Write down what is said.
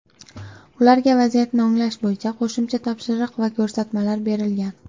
Ularga vaziyatni o‘nglash bo‘yicha qo‘shimcha topshiriq va ko‘rsatmalar berilgan.